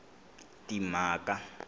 timhaka